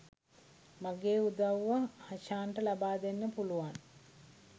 මගේ උදව්ව හෂාන්ට ලබා දෙන්න පුළුවන්